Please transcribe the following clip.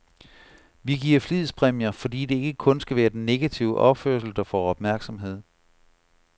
Vi giver flidspræmier, fordi det ikke kun skal være den negative opførsel, der får opmærksomhed.